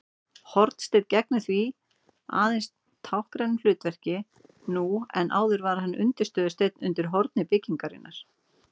Hornsteinn gegnir því aðeins táknrænu hlutverki nú en áður var hann undirstöðusteinn undir horni byggingar.